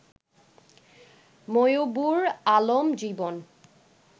Moybur Alam Jibon